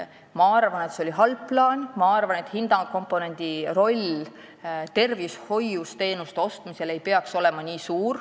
Ma arvan, et see oli halb plaan: tervishoius ei peaks hinnakomponendi roll teenuste ostmisel nii suur olema.